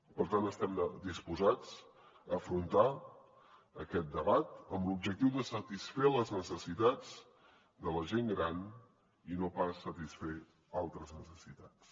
per tant estem disposats a afrontar aquest debat amb l’objectiu de satisfer les necessitats de la gent gran i no pas satisfer altres necessitats